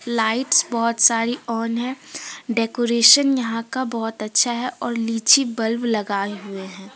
Lights बहुत सारे on है डेकोरेसन यहां का बहोत अच्छा है और लीची बल्ब लगाए हुये हैं।